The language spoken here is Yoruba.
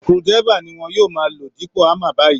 Screwdriver ni wọn yóò máa lò dípò hámmer báyìí